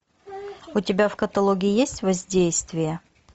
у тебя в каталоге есть воздействие